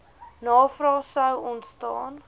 navrae sou ontstaan